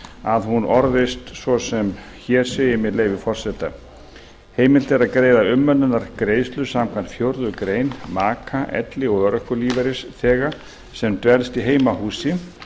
að hún orðist svo sem hér segir með leyfi forseta heimilt er að greiða umönnunargreiðslur samkvæmt fjórðu grein maka elli eða örorkulífeyrisþega sem dvelst í heimahúsi